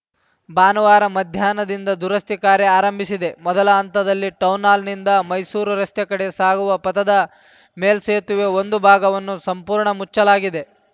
ಭಾನುವಾರ ಮಧ್ಯಾಹ್ನದಿಂದ ದುರಸ್ತಿ ಕಾರ್ಯ ಆರಂಭಿಸಿದೆ ಮೊದಲ ಹಂತದಲ್ಲಿ ಟೌನ್‌ಹಾಲ್‌ನಿಂದ ಮೈಸೂರು ರಸ್ತೆ ಕಡೆ ಸಾಗುವ ಪಥದ ಮೇಲ್ಸೆತುವೆ ಒಂದು ಭಾಗವನ್ನು ಸಂಪೂರ್ಣ ಮುಚ್ಚಲಾಗಿದೆ